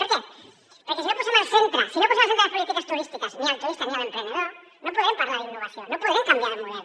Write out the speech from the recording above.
per què perquè si no posem al centre de les polítiques turístiques ni el turista ni l’emprenedor no podrem parlar d’innovació no podrem canviar de model